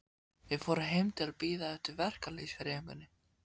Við fórum heim til að bíða eftir verkalýðshreyfingunni.